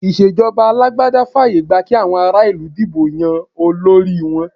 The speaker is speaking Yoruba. Ìṣèjọba alágbádá fààyè gba kí àwọn ará-ìlú dìbò yan olórí wọn.